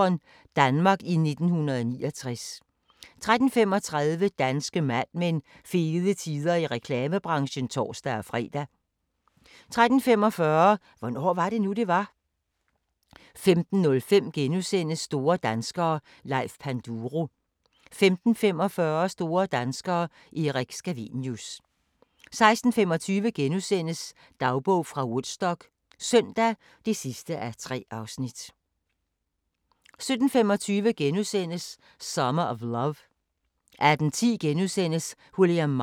17:25: Summer of Love * 18:10: William Marshall: Den største ridder * 19:05: Amsterdams hemmeligheder * 19:55: Dagens sang: Se, nu stiger solen * 20:00: Sankt Petersborgs hemmeligheder 20:50: På rejse til: Istanbul 21:00: Juan 22:40: TV-Quizzen (8:8) 23:25: Genetic Me 00:20: Violette